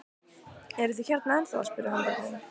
Eruð þið hérna ennþá? spurði hann börnin.